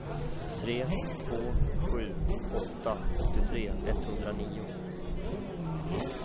tre två sju åtta åttiotre etthundranio